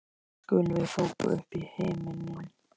skulum við hrópa upp í himininn.